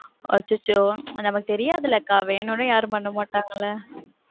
அச்சச்சோ நமக்கு தெரியதுல அக்கா, வேணும்னே யாரும் பண்ண மாட்டாங்கல.